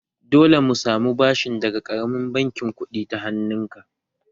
Dole mu samu bashin daga ƙaramin bankin kuɗin ta hannun ka!